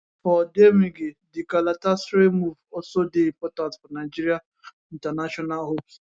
for odemwingie di galatasaray move also dey important for nigeria international hopes